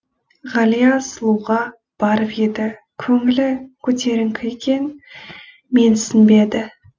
ғалия сұлуға барып еді көңілі көтеріңкі екен менсінбеді